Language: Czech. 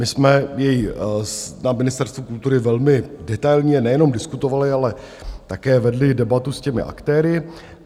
My jsme jej na Ministerstvu kultury velmi detailně nejenom diskutovali, ale také vedli debatu s těmi aktéry.